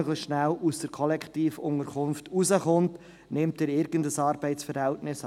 Nur um möglichst schnell aus dieser Kollektivunterkunft herauszukommen, nimmt er irgendein Arbeitsverhältnis an.